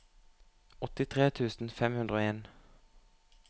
åttitre tusen fem hundre og en